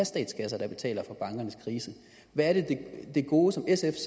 statskasser betaler for bankernes kriser hvad er det gode som sf